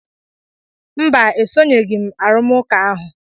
Mba, esoghị m arụmụka ahụ.